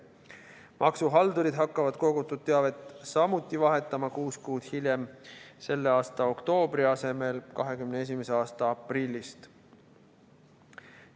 Maksuhaldurid hakkavad kogutud teavet samuti vahetama kuus kuud hiljem, selle aasta oktoobri asemel 2021. aasta aprillist.